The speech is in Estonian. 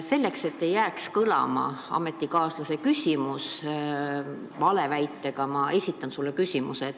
Selleks, et ei jääks kõlama ametikaaslase küsimus valeväitega, esitan ma sulle uue küsimuse.